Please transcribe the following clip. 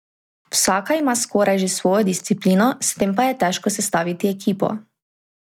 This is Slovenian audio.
Vsaka ima skoraj že svojo disciplino, s tem pa je težko sestaviti ekipo.